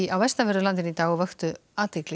á vestanverðu landinu í dag og vöktu athygli